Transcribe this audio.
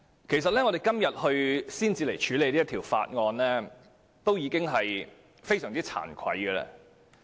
其實我們今天才處理《條例草案》，已經非常慚愧。